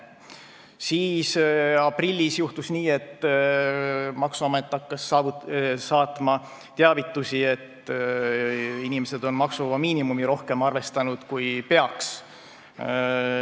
Siis aprillis juhtus nii, et maksuamet hakkas saatma teavitusi, et inimesed on maksuvaba miinimumi rohkem arvestanud, kui peaks.